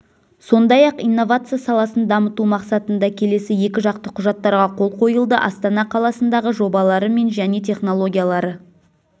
сондай-ақ инновация саласын дамыту мақсатында келесі екіжақты құжаттарға қол қойылды астана қаласындағы жобалары мен және технологиялары